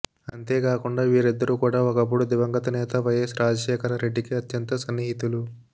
అంతేకాకుండా వీరిద్దరు కూడా ఒకప్పుడు దివంగత నేత వైయస్ రాజశేఖర రెడ్డికి అత్యంత సన్నిహితులు